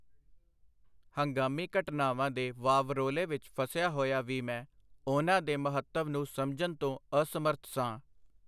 ਹੰਗਾਮੀ ਘਟਨਾਵਾਂ ਦੇ ਵਾਵਰੋਲੇ ਵਿਚ ਫਸਿਆ ਹੋਇਆ ਵੀ ਮੈਂ ਉਹਨਾਂ ਦੇ ਮਹੱਤਵ ਨੂੰ ਸਮਝਨ ਤੋਂ ਅਸਮਰਥ ਸਾਂ.